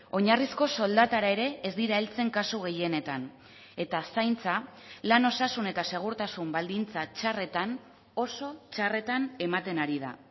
oinarrizko soldatara ere ez dira heltzen kasu gehienetan eta zaintza lan osasun eta segurtasun baldintza txarretan oso txarretan ematen ari da